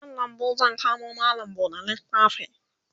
a nan lambu zan kamo mallam buɗe littafi